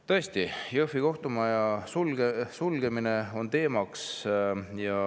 Tõesti, teemaks on Jõhvi kohtumaja sulgemine.